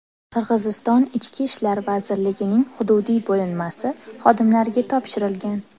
Qirg‘iziston Ichki ishlar vazirligining hududiy bo‘linmasi xodimlariga topshirilgan.